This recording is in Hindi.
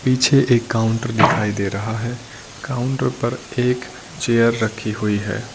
पीछे एक काउंटर दिखाई दे रहा है काउंटर पर एक चेयर रखी हुई है।